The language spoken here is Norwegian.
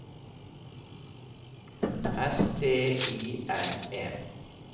S T I N E